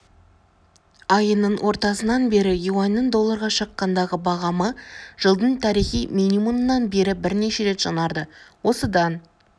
айының ортасынан бері юаньнің долларға шаққандағы бағамы жылдың тарихи минимумынан бері бірнеше рет жаңарды осыдан